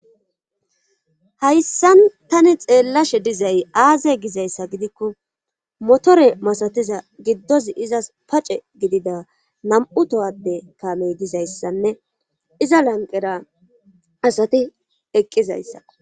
hayssan tani xeellashe dizay aaze gizayssa gidikko motore masatiza giddozi izas pace gidida nam7u tohade taamoy dizayssanne iza lanqera asati eqqizayssa